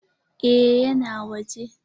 Eh ya na waje?